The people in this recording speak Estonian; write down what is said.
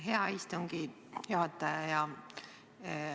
Aitäh, hea istungi juhataja!